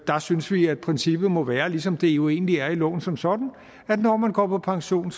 der synes vi at princippet må være ligesom det jo egentlig er i loven som sådan at når man går på pension